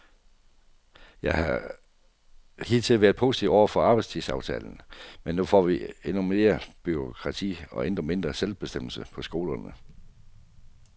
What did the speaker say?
Jeg har hidtil været positiv over for arbejdstidsaftalen, men nu får vi endnu mere bureaukrati og endnu mindre selvbestemmelse på skolerne.